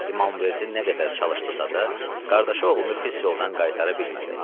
İmamverdi nə qədər çalışdısa da, qardaşı oğlunu pis yoldan qaytara bilmədi.